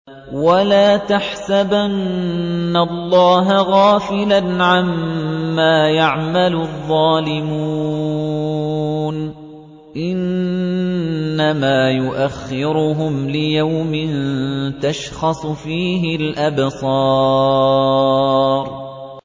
وَلَا تَحْسَبَنَّ اللَّهَ غَافِلًا عَمَّا يَعْمَلُ الظَّالِمُونَ ۚ إِنَّمَا يُؤَخِّرُهُمْ لِيَوْمٍ تَشْخَصُ فِيهِ الْأَبْصَارُ